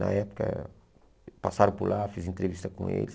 Na época, passaram por lá, fiz entrevista com eles.